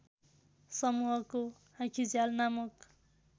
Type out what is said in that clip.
समुहको आँखिझ्याल नामक